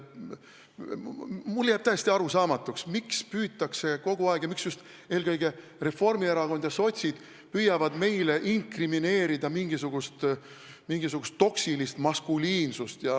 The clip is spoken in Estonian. Mulle jääb täiesti arusaamatuks, miks kogu aeg püütakse ja miks just eelkõige Reformierakond ja sotsid püüavad meile inkrimineerida mingisugust toksilist maskuliinsust.